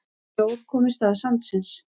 Snjór kom í stað sandsins.